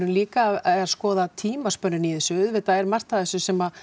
líka að skoða tímann í þessu auðvitað er margt í þessu sem